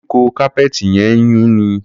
Koríko kápẹ́ẹ̀tì yẹn ń yúnni.